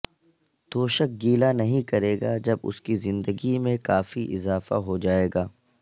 توشک گیلا نہیں کرے گا جب اس کی زندگی میں کافی اضافہ ہو جائے گا